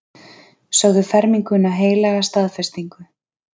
Sögðu ferminguna heilaga staðfestingu.